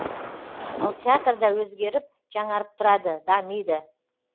ал театрда өзгеріп жаңарып тұрады дамиды